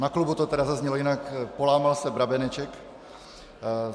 Na klubu to tedy zaznělo jinak - polámal se brabeneček.